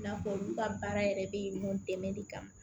I n'a fɔ olu ka baara yɛrɛ bɛ mun dɛmɛ de kama